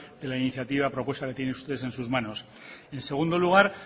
de la iniciativa propuesta que tienen ustedes en sus manos en segundo lugar